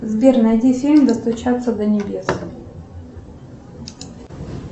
сбер найди фильм достучаться до небес